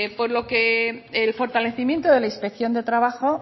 por lo que el fortalecimiento de la inspección de trabajo